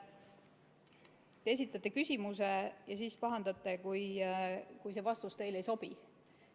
Te esitate küsimuse ja siis pahandate, kui vastus teile ei sobi.